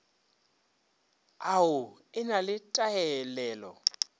au e na le taelelo